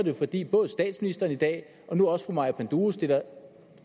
jo fordi både statsministeren i dag og nu også fru maja panduro stiller